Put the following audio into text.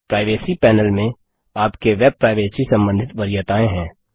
privacy panel में आपके web privacy संबंधित वरीयताएँ हैं